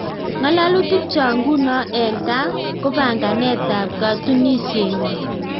Ng'alalutik chok ngunoo eng kaa kopanganet ap katunisiet ngwaang